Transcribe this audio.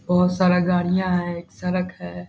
बोहोत सारा गाड़ियाँ हैं। एक सड़क है।